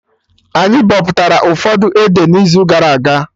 Anyị bọpụtara ụfọdụ ede na izu gara aga